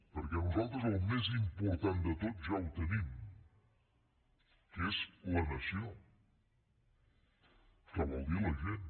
perquè nosaltres el més important de tot ja ho tenim que és la nació que vol dir la gent